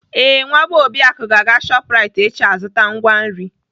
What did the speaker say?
Ee, Nwa bee Obiaku ga-aga Shoprite echi azụta ngwa nri.